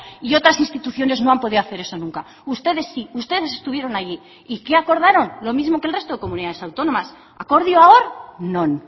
y otras instituciones no han podido hacer eso nunca ustedes sí ustedes estuvieron allí y qué acordaron lo mismo que el resto de comunidades autónomas akordioa hor non